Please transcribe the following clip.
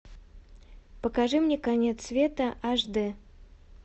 покажи мне конец света аш дэ